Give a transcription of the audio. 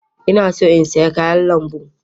Ina so in saya kayan lambu.